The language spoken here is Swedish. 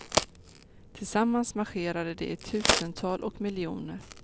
Tillsammans marscherade de i tusental och miljoner.